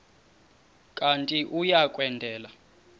kanti uia kwendela